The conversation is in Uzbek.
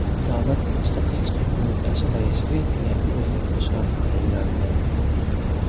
Davlat statistika qo‘mitasi raisiga yangi o‘rinbosar tayinlandi.